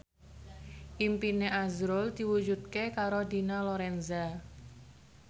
impine azrul diwujudke karo Dina Lorenza